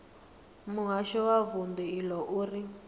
muhasho wa vundu iḽo uri